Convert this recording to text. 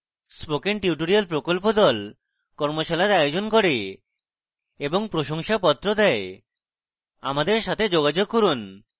spoken tutorial প্রকল্প the কর্মশালার আয়োজন করে এবং প্রশংসাপত্র the আমাদের সাথে যোগাযোগ করুন